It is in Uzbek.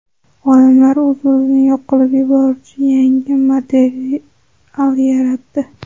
Olimlar o‘z-o‘zini yo‘q qilib yuboruvchi yangi material yaratdi.